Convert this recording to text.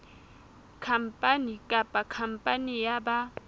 khampani kapa khampani ya ba